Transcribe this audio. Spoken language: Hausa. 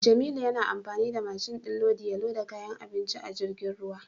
Jamilu yana amfani da mashin din lodi ya loda kayan abinci a jirgin ruwa.